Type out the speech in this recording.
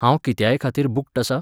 हांव कित्यायखातीर बूक्ड आसां?